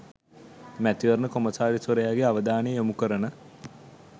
මැතිවරණ කොමසාරිස්වරයාගේ අවධානය යොමු කරන